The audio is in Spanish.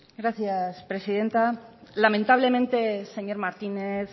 gracias presidenta lamentablemente señor martínez